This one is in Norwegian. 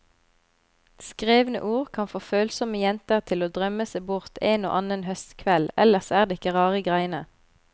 Skrevne ord kan få følsomme jenter til å drømme seg bort en og annen høstkveld, ellers er det ikke rare greiene.